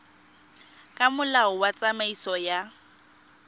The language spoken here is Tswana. ka molao wa tsamaiso ya